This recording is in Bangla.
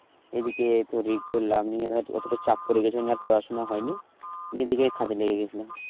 এদিকে তোর এই করলাম নিয়ে ধর অতটা চাপ পরে গেছিলো নিয়ে আর পড়াশোনা হয়নি, নিয়ে এদিকে কাজে লেগে গেসলাম